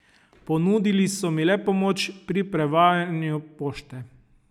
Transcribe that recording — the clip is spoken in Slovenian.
Ponudili so mi le pomoč pri prevajanju pošte.